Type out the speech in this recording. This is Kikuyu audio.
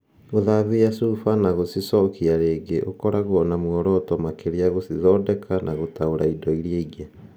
Gũthambia chufa na gũcicokia rĩngĩ ũkoragwo na muoroto makĩria gũcithondeka na gũtaũra indo iria ingĩ.